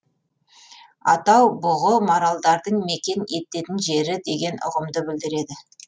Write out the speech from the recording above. атау бүғы маралдардың мекен ететін жері деген ұғымды білдіреді